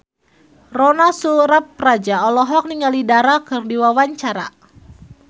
Ronal Surapradja olohok ningali Dara keur diwawancara